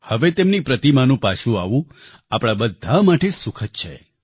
હવે તેમની પ્રતિમાનું પાછું આવવું આપણા બધા માટે સુખદ છે